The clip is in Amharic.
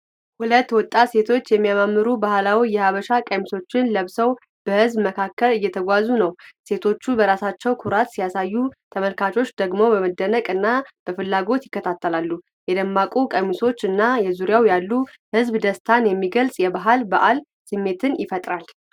ሁለት ወጣት ሴቶች የሚያማምሩ ባህላዊ የሀበሻ ቀሚሶችን ለብሰው በህዝብ መካከል እየተጓዙ ነው። ሴቶቹ በራሳቸው ኩራት ሲያሳዩ፤ ተመልካቾች ደግሞ በመደነቅ እና በፍላጎት ይከታተላሉ። የደማቁ ቀሚሶች እና በዙሪያው ያለው ህዝብ ደስታን የሚገልጽ የባህል በዓል ስሜት ይፈጥራል።